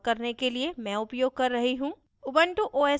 इस tutorial को record करने के लिए मैं उपयोग कर रही हूँ